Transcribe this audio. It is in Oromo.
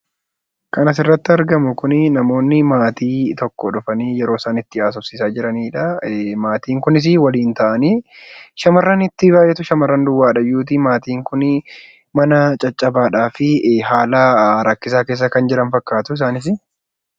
Lan asirratti argamu kun namoonni maatii tokko dhuganii yeroo haasofsiisaa jiranidha. Maatiin kunis waliin ta'anii shamarranitti baay'atu, shamarran duwwaadhayyuuti. Maatiin kun mana caccabaadhaafi haala rakkisaa keessa kan jiran fakkaatu isaanis.